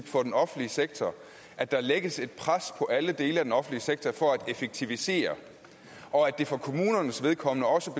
for den offentlige sektor at der lægges pres på alle dele af den offentlige sektor for at effektivisere og at det for kommunernes vedkommende også